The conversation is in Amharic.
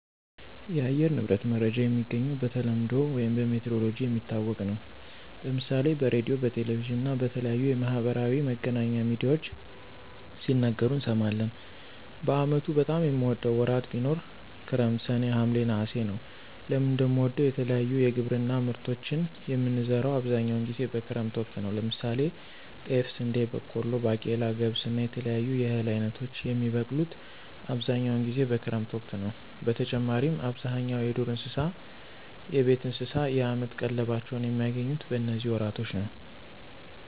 የአየር ንብረት መረጃ የሚገኘው በተለምዶ ውይም በሜትሮሎጅ የሚታወቅ ነው። ለምሳሌ በሬድዮ፣ በቴሌቪዥን እና በተለያዩ የማህበራዊ መገናኛ ሚድያዎች ሲነገሩ እንሰማለን። በአመቱ በጣም የምወደው ወራት ቢኖር ክረምት ሰኔ፣ ሀምሌ፣ ነሐሴ ነወ። ለምን እንደምወደው የተለያዩ የግብርና ምርቶችን የምንዘራው አብዛኛውን ጊዜ በክረምት ወቅት ነው። ለምሳሌ ጤፍ፣ ስንዴ፣ በቆሎ፣ ባቄላ፣ ገብስ እና የተለያዩ የእህል አይነቶች የሚበቅሉት አብዛኛውን ጊዜ በክረምት ወቅት ነዉ። በተጨማሪም አብዛኛው የዱር እንስሳት፣ የቤት እንስሳት የአመት ቀለባቸውን የሚያገኙት በነዚህ ወራቶች ነው።